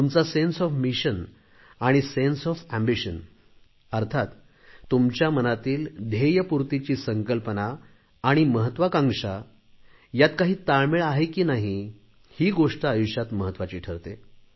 तुमच्या मनातील ध्येयपूर्तीची संकल्पना आणि महत्त्वाकांक्षा यात काही ताळमेळ आहे की नाही ही गोष्ट आयुष्यात महत्त्वाची ठरते